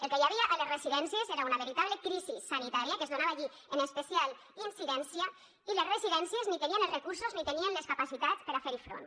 el que hi havia a les residències era una veritable crisi sanitària que es donava allí en especial incidència i les residències ni tenien els recursos ni tenien les capacitats per a fer hi front